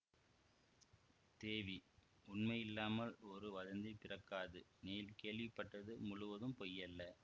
தேவி உண்மையில்லாமல் ஒரு வதந்தி பிறக்காது நீ கேள்விப்பட்டது முழுவதும் பொய்யல்ல